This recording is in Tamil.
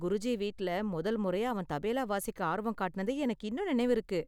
குருஜி வீட்டில மொதல் முறையா அவன் தபேலா வாசிக்க ஆர்வம் காட்டினது எனக்கு இன்னும் நினைவிருக்கு.